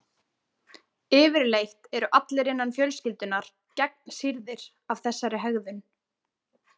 Yfirleitt eru allir innan fjölskyldunnar gegnsýrðir af þessari hegðun.